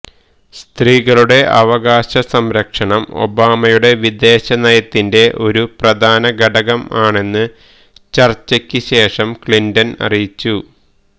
സ്ത്രീകളുടെ അവകാശ സംരക്ഷണം ഒബാമയുടെ വിദേശ നയത്തിന്റെ ഒരു പ്രധാന ഘടകം ആണെന്നു ചര്ച്ചക്ക് ശേഷം ക്ലിന്റണ് അറിയിച്ചു